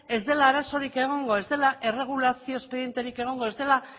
ez dela azarorik egongo ez dela erregulazio espedienterik egongo ez dela